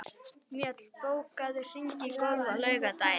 Mjöll, bókaðu hring í golf á laugardaginn.